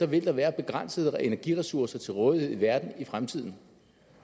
vil være begrænsede energiressourcer til rådighed i verden i fremtiden